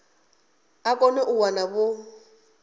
a kone u wana vho